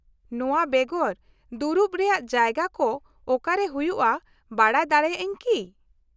ᱱᱚᱶᱟ ᱵᱮᱜᱚᱨ, ᱫᱩᱲᱩᱵ ᱨᱮᱭᱟᱜ ᱡᱟᱭᱜᱟ ᱠᱚ ᱚᱠᱟᱨᱮ ᱦᱩᱭᱩᱜᱼᱟ ᱵᱟᱰᱟᱭ ᱫᱟᱲᱮᱭᱟᱜ ᱟᱹᱧ ᱠᱤ ?